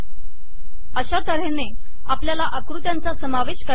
अशा तऱ्हेने आपल्याला आकृत्यांचा समावेश करता येतो